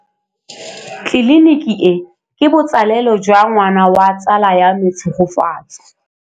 Tleliniki e, ke botsalêlô jwa ngwana wa tsala ya me Tshegofatso.